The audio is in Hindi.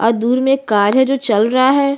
और दूर में एक कार है जो चल रहा है।